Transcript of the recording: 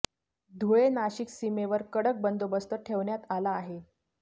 धुळे नाशिक सीमेवर कडक बंदोबस्त ठेवण्यात आला आहे